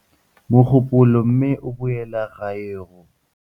Mogopolo mme a boela gae go.